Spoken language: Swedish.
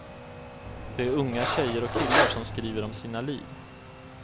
Det är unga tjejer och killar som skriver om sina liv.